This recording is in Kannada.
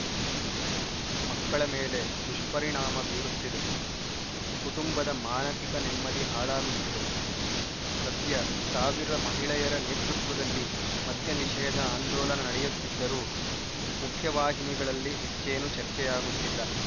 ಮಕ್ಕಳ ಮೇಲೆ ದುಷ್ಪರಿಣಾಮ ಬೀರುತ್ತಿದೆ ಕುಟುಂಬದ ಮಾನಸಿಕ ನೆಮ್ಮದಿ ಹಾಳಾಗುತ್ತಿದೆ ಸದ್ಯ ಸಾವಿರ ಮಹಿಳೆಯರ ನೇತೃತ್ವದಲ್ಲಿ ಮದ್ಯ ನಿಷೇಧ ಆಂದೋಲನ ನಡೆಯುತ್ತಿದ್ದರೂ ಮುಖ್ಯವಾಹಿನಿಗಳಲ್ಲಿ ಹೆಚ್ಚೇನೂ ಚರ್ಚೆಯಾಗುತ್ತಿಲ್ಲ